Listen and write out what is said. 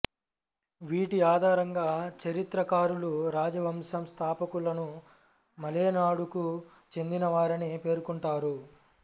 వీటి ఆధారంగా చరిత్రకారులు రాజవంశం స్థాపకులను మలేనాడుకు చెందినవారని పేర్కొంటారు